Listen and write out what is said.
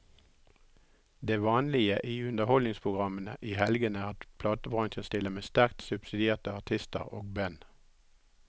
Det vanlige i underholdningsprogrammene i helgene er at platebransjen stiller med sterkt subsidierte artister og band.